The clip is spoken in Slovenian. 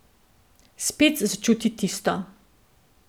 Spet začuti tisto.